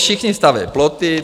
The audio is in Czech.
Všichni staví ploty.